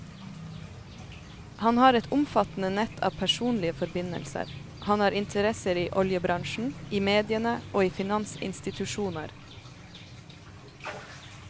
Han har et omfattende nett av personlige forbindelser, han har interesser i oljebransjen, i mediene og i finansinstitusjoner.